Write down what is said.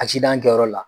Asidan kɛyɔrɔ la